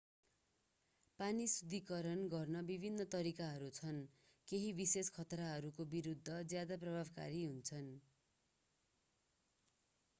पानी शुद्धीकरण गर्ने विभिन्न तरिकाहरू छन् केही विशेष खतराहरूको विरuद्ध ज्यादा प्रभावकारी हुन्छन्।